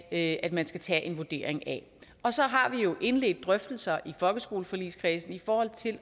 at man skal tage en vurdering af og så har vi jo indledt drøftelser i folkeskoleforligskredsen i forhold til